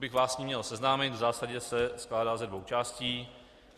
Kdybych vás s ním měl seznámit, v zásadě se skládá ze dvou částí.